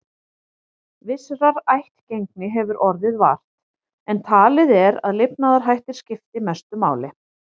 Vissrar ættgengi hefur orðið vart, en talið er að lifnaðarhættir skipti mestu máli.